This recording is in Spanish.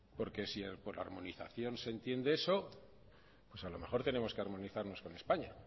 porque si por armonización se entiende eso pues a lo mejor tenemos que armonizarnos con españa